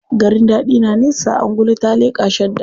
Garin daɗi na nesa, angulu ta leƙa shadda.